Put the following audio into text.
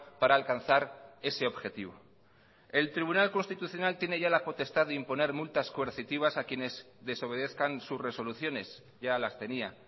para alcanzar ese objetivo el tribunal constitucional tiene ya la potestad de imponer multas coercitivas a quienes desobedezcan sus resoluciones ya las tenía